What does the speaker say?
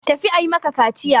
Tafi a yi maka kaciya!